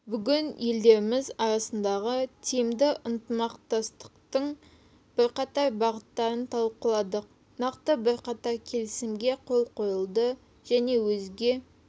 бүгін елдеріміз арасындағы тиімді ынтымақтастықтың бірқатар бағыттарын талқыладық нақты бірқатар келісімге қол қойылады және өзге